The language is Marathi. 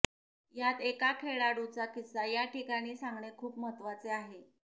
यात एका खेळाडूचा किस्सा या ठिकाणी सांगणे खूप महत्त्वाचे आहे